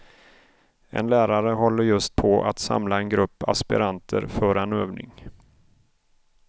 En lärare håller just på att samla en grupp aspiranter för en övning.